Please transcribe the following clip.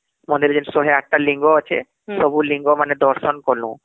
ଯଉ ୧୦୮ ଟା ଲିଙ୍ଗ ଅଛେ ସବୁ ଲିଙ୍ଗ ମାନେ ଦର୍ଶନ କଲୁ